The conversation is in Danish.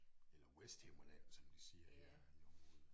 Eller Vesthimmerland som de siger der i området